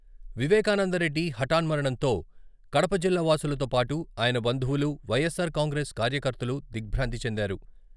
వివేకానందరెడ్డి హటాన్మరణంతో కడప జిల్లా వాసులతో పాటు ఆయన బంధువులు, వై.ఎస్.ఆర్ కాంగ్రెస్ కార్యకర్తలలు దిగ్భ్రాంతి చెందారు.